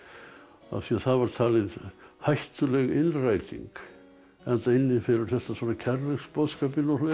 af því það var talin hættuleg innræting enda innifelur þetta kærleiksboðskapinn og fleira